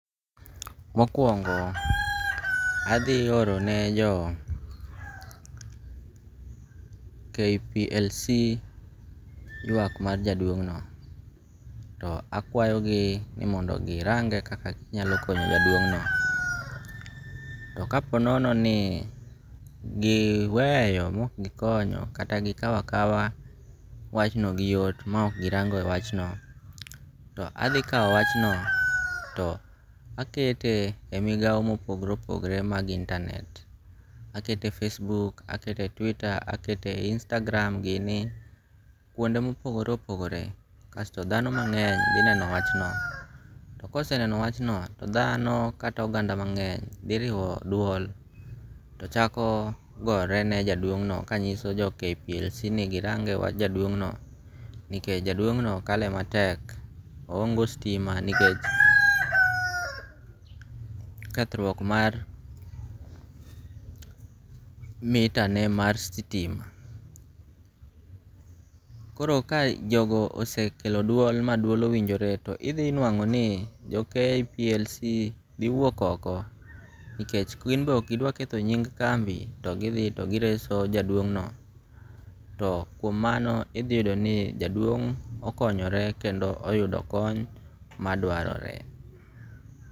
Mokuongo' athi orone jo Kplc ywak mar jaduong'no, to akwayogi ni mondo gi range' kaka ginyalo konyo jadwong'no to ka ponononi giweyo ma ok gikonyo kata gikawo akawa wachno gi yot ma ok gi rango' e wachno, to athi kawo wachno to akete e migao mopogre opogre mag internet, akete Facebook, akete e twitter akete e Instagram gini kuonde mopogore opogore, kasto thano mange'ny thi neno wachno to koseneno wachno to thano kata oganda mangeny thiriwo duol to chako gore ne jaduong'no kanyiso jo KPLC ni girange' e wach jaduong'no nikech jaduongno kale matek nikech ohonge stima nikech kethruok mar meter ne mar stima, koro kae jogo osekelo duol ma duol owinjore to ithi nwango' ni jo KPLC thi wuok oko nikech gimbe ok gidwa ketho nying kambi to gi thi to gireso jaduong'no to kuom mano ithi yudo ni jaduong' okonyore kendo oyudo kony madwarore.